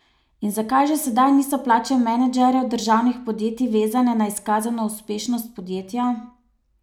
In zakaj že sedaj niso plače menedžerjev državnih podjetij vezane na izkazano uspešnost podjetja?